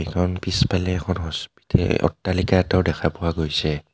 এখন পিছফালে এখন হস্পিটে-অট্টালিকা এটাও দেখা পোৱা গৈছে.